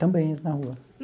Também, na rua.